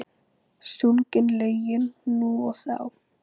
Sungin lögin nú og þá.